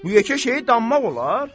Bu yekə şeyi danmaq olar?